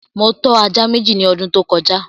Mo tọ́ ajá Méjì ní ọdún tí ó kọjá